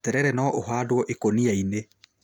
Terere no ũhandwo ikũnia-inĩ